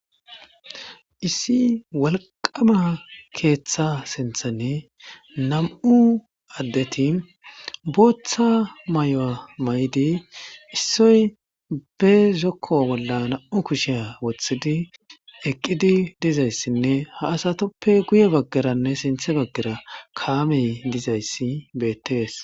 Issi wolqama ketha sithan nam'u adeti bootha mayuwa mayid issoy bw zoko bolla nam'u kushiya wothidi eqid dizaysinne ha asatuppe guye bagaranne sinthe bagara kaamey dizaysi betes.